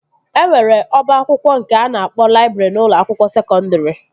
E nwere ọba akwụkwọ nke a na-akpọ laịbrị n'ụlọ akwụkwọ sekọndri